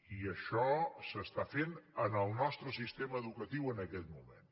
i això s’està fent en el nostre sistema educatiu en aquest moment